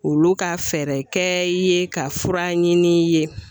Olu ka fɛɛrɛ kɛ i ye ka fura ɲini i ye .